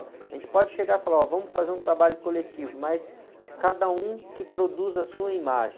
A gente pode chegar e falar, olha, vamos fazer um trabalho coletivo, mas cada um que produz a sua imagem.